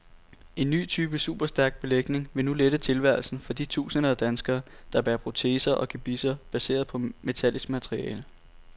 En ny type superstærk belægning vil nu lette tilværelsen for de tusinder af danskere, der bærer proteser og gebisser baseret på metallisk materiale.